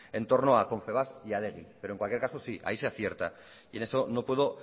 en torno a confebask y a adegi pero en cualquier caso sí hay sí acierta y en eso no puedo